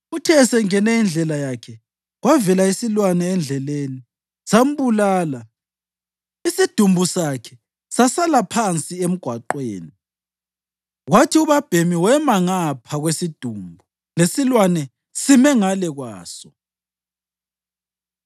Uthe esengene indlela yakhe, kwavela isilwane endleleni sambulala, isidumbu sakhe sasala phansi emgwaqweni, kwathi ubabhemi wema ngapha kwesidumbu lesilwane sime ngale kwaso.